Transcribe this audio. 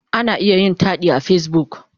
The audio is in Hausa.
Ana iya yin taɗi a Facebook.